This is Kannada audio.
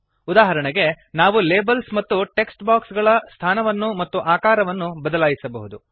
ಉದಾಹರಣೆಗೆ ನಾವು ಲೇಬಲ್ಸ್ ಮತ್ತು ಟೆಕ್ಸ್ಟ್ ಬಾಕ್ಸ್ ಗಳ ಸ್ಥಾನವನ್ನು ಮತ್ತು ಆಕಾರವನ್ನು ಬದಲಾಯಿಸಬಹುದು